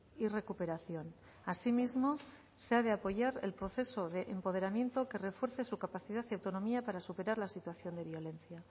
y recuperación así mismo se ha de apoyar el proceso de empoderamiento que refuerce su capacidad y autonomía para superar la situación de violencia